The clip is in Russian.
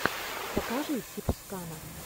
покажи сибскана